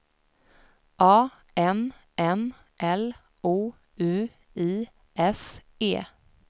A N N L O U I S E